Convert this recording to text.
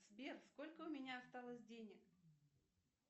сбер сколько у меня осталось денег